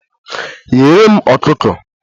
Ghere m ọkụkọ!